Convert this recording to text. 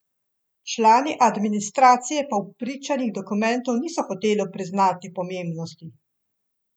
Člani administracije pa v pričanjih dokumentom niso hoteli priznati pomembnosti.